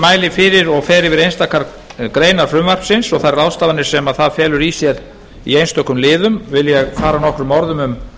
mæli fyrir og fer yfir einstakar greinar frumvarpsins og þær ráðstafanir sem það felur í sér í einstökum liðum vil ég fara nokkrum orðum um